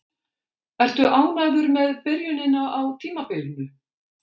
Ertu ánægður með byrjunina á tímabilinu?